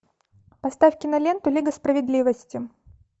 поставь киноленту лига справедливости